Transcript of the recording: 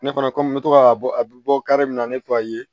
Ne fana komi n bɛ to ka bɔ a bɛ bɔ min na ne tɔgɔ ayi